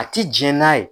A ti jɛn n'a ye